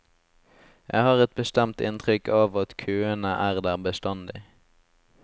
Jeg har et bestemt inntrykk av at køene er der bestandig.